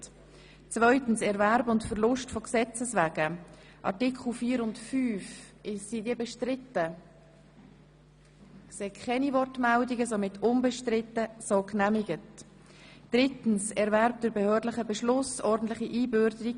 2. Erwerb und Verlust von Gesetzes wegen Art. 4, 5 Angenommen 3. Erwerb durch behördlichen Beschluss (ordentliche Einbürgerung)